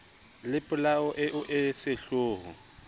le polao eo e sehloho